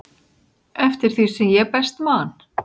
eftir því sem ég best man.